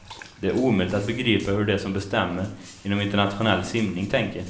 Det är omöjligt att begripa hur de som bestämmer inom internationell simning tänker.